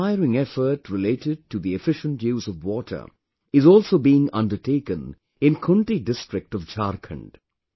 An inspiring effort related to the efficient use of water is also being undertaken in Khunti district of Jharkhand